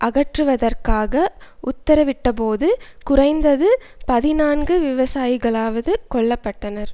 அகற்றுவதற்காக உத்தரவிட்டபோது குறைந்தது பதினான்கு விவசாயிகளாவது கொல்ல பட்டனர்